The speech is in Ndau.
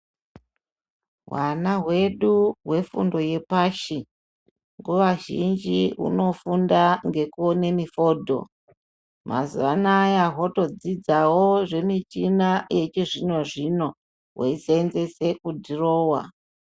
Hwana hwedu hwefundo yepashi nguva zhinji hunofunda ngekuone mifodho. Mazuva anaya hwotodzidzawo zvemichina yechizvino-zvino hweiseenzese kudhirowa.